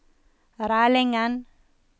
Rælingen